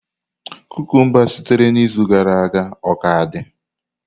Kukumba sitere na izu gara aga o ka dị?